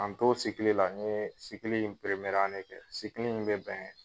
K'an to la n ye kɛ , in bɛ bɛn